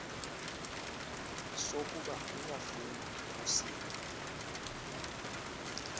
sokuba uyafuna kusini